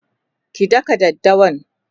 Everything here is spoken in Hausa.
ki dakka daddawan!